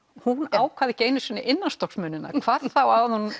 hún ákvað ekki einu sinni hvað þá að hún